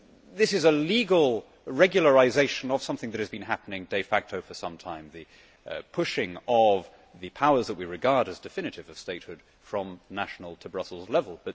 This is a legal regularisation of something that has been happening de facto for some time the pushing of the powers that we regard as definitive of statehood from national to Brussels level.